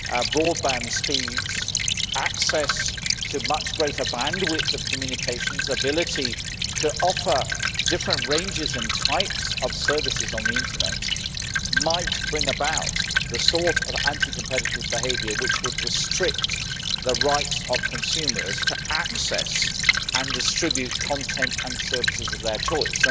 broadband speeds, access to much greater bandwidth of communications and ability to offer different ranges and types of services on the internet might bring about the sort of anti competitive behaviour which would restrict the rights of consumers to access and distribute content and services of their choice.